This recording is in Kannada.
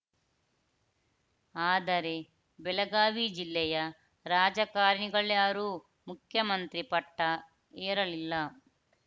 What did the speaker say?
ಆದರೆ ಬೆಳಗಾವಿ ಜಿಲ್ಲೆಯ ರಾಜಕಾರಣಿಗಳ್ಯಾರೂ ಮುಖ್ಯಮಂತ್ರಿ ಪಟ್ಟಏರಲಿಲ್ಲ